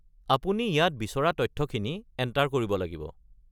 আপুনি ইয়াত বিচৰা তথ্যখিনি এণ্টাৰ কৰিব লাগিব।